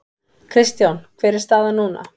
Kristján hver er staðan núna?